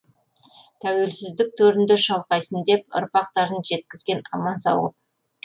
тәуелсіздік төрінде шалқайсын деп ұрпақтарын жеткізген аман сау ғып